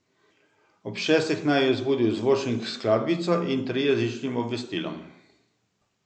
Ob šestih naju je zbudil zvočnik s skladbico in trijezičnim obvestilom.